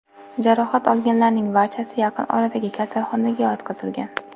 Jarohat olganlarning barchasi yaqin oradagi kasalxonalarga yotqizilgan.